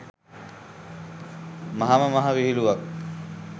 මහාම මහා විහිළුවක්.